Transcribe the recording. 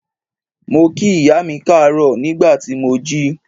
Mo kí ìyá mi káàárọ̀ nígbà tí mo jí.